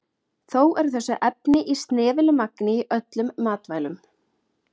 Þó eru þessi efni í snefilmagni í öllum matvælum.